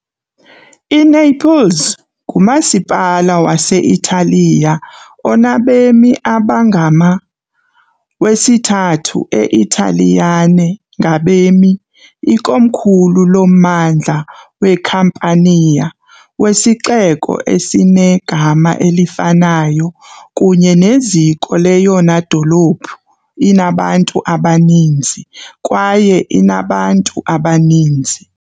INaples ngumasipala wase-Italiya onabemi abangama , wesithathu e-Italiyane ngabemi, ikomkhulu loMmandla weCampania, wesixeko esinegama elifanayo kunye neziko leyona dolophu inabantu abaninzi kwaye inabantu abaninzi.